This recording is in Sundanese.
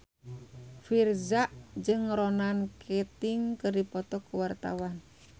Virzha jeung Ronan Keating keur dipoto ku wartawan